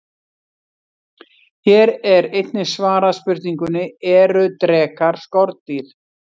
Hér er einnig svarað spurningunni: Eru drekar skordýr?